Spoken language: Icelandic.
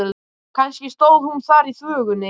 Kannski stóð hún þar í þvögunni.